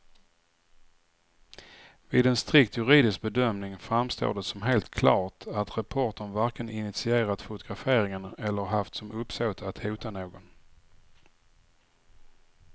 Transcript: Vid en strikt juridisk bedömning framstår det som helt klart att reportern varken initierat fotograferingen eller haft som uppsåt att hota någon.